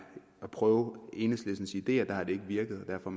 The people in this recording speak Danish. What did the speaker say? at prøve enhedslistens ideer ikke har virket og derfor